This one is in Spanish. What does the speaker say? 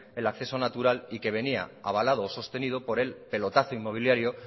el acceso natural y que venía avalado o sostenido por el pelotazo inmobiliario